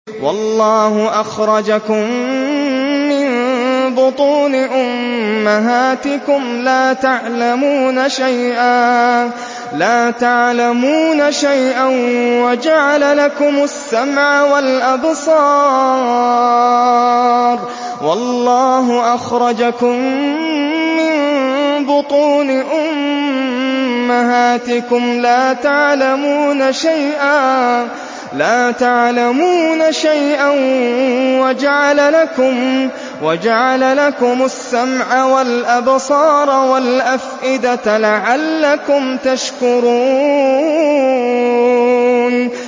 وَاللَّهُ أَخْرَجَكُم مِّن بُطُونِ أُمَّهَاتِكُمْ لَا تَعْلَمُونَ شَيْئًا وَجَعَلَ لَكُمُ السَّمْعَ وَالْأَبْصَارَ وَالْأَفْئِدَةَ ۙ لَعَلَّكُمْ تَشْكُرُونَ